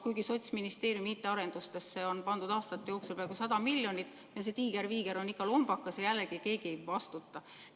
Kuigi Sotsiaalministeeriumi IT‑arendustesse on pandud aastate jooksul peaaegu 100 miljonit, on see tiiger-viiger ikka lombakas ja jällegi keegi ei vastuta.